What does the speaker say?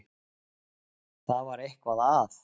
Það var eitthvað að.